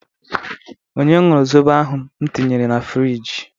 Onye ñụrụ zobo ahụ m tinyere na frịjị?